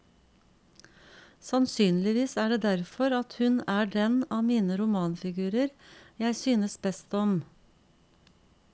Sannsynligvis er det derfor, at hun er den av mine romanfigurer jeg synes best om.